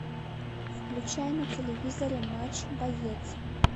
включай на телевизоре матч боец